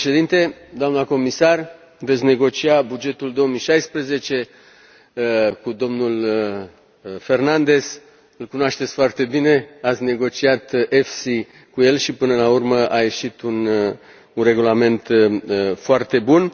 Domnule președinte, doamnă comisar, veți negocia bugetul 2016 cu domnul Fernandez îl cunoașteți foarte bine, ați negociat EFSI cu el și, până la urmă, a ieșit un regulament foarte bun.